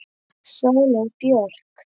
Sóley Björk